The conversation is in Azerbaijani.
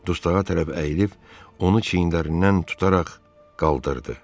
Dustağa tərəf əyilib, onu çiyinlərindən tutaraq qaldırdı.